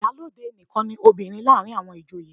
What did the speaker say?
Ìyálóde nìkan ni obìnrin láàárín àwọn ìjòyè.